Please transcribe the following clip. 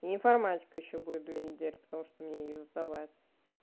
информатика ещё будет две недели потому что мне её сдавать